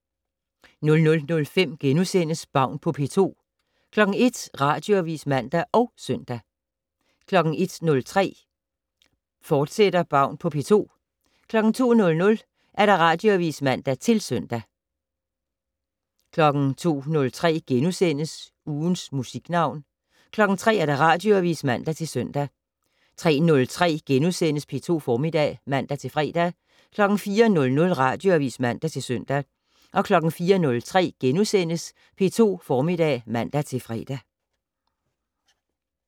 00:05: Baun på P2 * 01:00: Radioavis (man og søn) 01:03: Baun på P2, fortsat 02:00: Radioavis (man-søn) 02:03: Ugens Musiknavn * 03:00: Radioavis (man-søn) 03:03: P2 Formiddag *(man-fre) 04:00: Radioavis (man-søn) 04:03: P2 Formiddag *(man-fre)